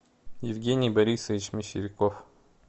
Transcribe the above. евгений борисович мещеряков